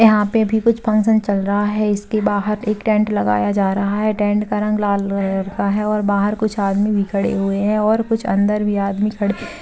यहाँ पे भी कुछ फंगक्शन चल रहा है इसके बाहर एक टेंट लगाया जा रहा है टेंट का रंग लाल कलर का है बाहर कुछ आदमी भी खड़े हुए है और कुछ अंदर भी आदमी खड़े --